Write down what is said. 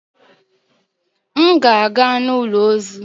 M ga-aga n'ụlọ ozu.